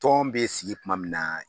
Tɔn bɛ sigi kuma min na